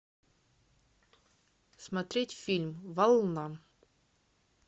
смотреть фильм волна